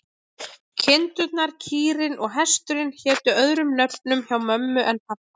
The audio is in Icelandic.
Kindurnar, kýrin og hesturinn hétu öðrum nöfnum hjá mömmu en pabba.